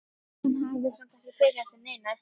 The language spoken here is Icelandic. Hún hafði samt ekki tekið eftir neinu.